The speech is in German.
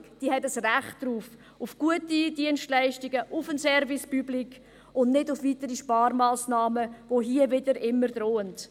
Die Bevölkerung hat ein Recht auf gute Dienstleistungen, auf einen Service Public, und nicht auf weitere Sparmassnahmen, die hier immer wieder drohen.